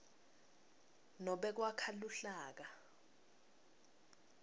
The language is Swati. nobe kwakha luhlaka